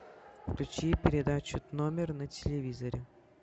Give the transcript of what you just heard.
включи передачу номер на телевизоре